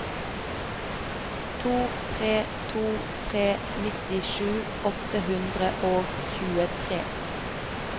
to tre to tre nittisju åtte hundre og tjuetre